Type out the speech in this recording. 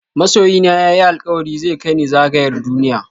Masoyina ya yi alkawari zai kai ni zagayar duniya.